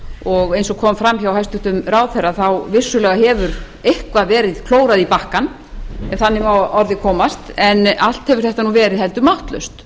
og eins og kom fram hjá hæstvirtum ráðherra hefur vissulega eitthvað verið klórað í bakkann ef þannig má að orði komast en allt hefur þetta verið heldur máttlaust